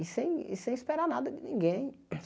E sem e sem esperar nada de ninguém.